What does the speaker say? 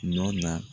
Nɔ na